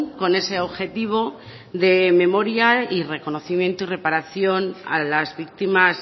con ese objetivo de memoria y reconocimiento y reparación a las víctimas